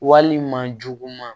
Walima juguman